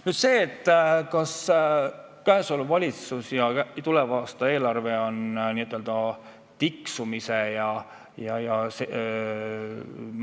Nüüd sellest, kas valitsuse tehtud tuleva aasta eelarve tähendab n-ö tiksumise ja